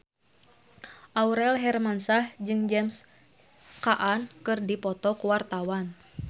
Aurel Hermansyah jeung James Caan keur dipoto ku wartawan